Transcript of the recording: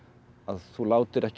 þú látir ekki